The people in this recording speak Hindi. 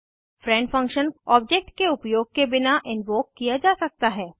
फ्रेंड फंक्शन ऑब्जेक्ट के उपयोग के बिना इन्वोक किया जा सकता है